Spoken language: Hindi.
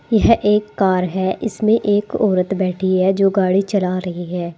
यह एक कार है इसमें एक औरत बैठी है जो गाड़ी चला रही है।